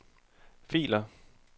filer